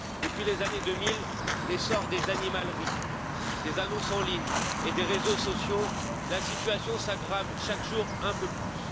Depuis les années 2000, l'essor des animaleries, des annonces en ligne et des réseaux sociaux, la situation s'aggrave chaque jour un peu plus.